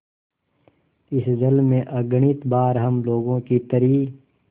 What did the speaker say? इस जल में अगणित बार हम लोगों की तरी